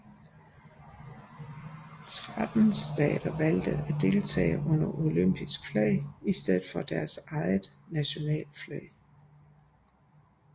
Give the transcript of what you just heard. Tretten stater valgte at deltage under det olympiske flag i stedet for deres eget nationale flag